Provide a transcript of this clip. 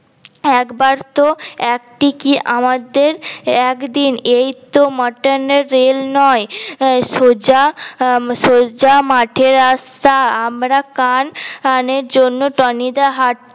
একবার তো একটি কি আমাদের একদিন এইতো মাতান এর রেল নয় সোজা সোজা মাঠের রাস্তা আমরা কান কানের জন্য টনি দা হাট